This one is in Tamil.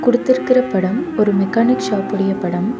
குடுத்திருக்கற படம் ஒரு மெக்கானிக் ஷாப் உடைய படம்.